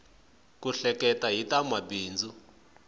ku hleketa hi ta mabindzu